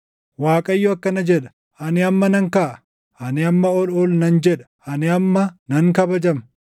Waaqayyo akkana jedha; “Ani amma nan kaʼa; ani amma ol ol nan jedha; ani amma nan kabajama.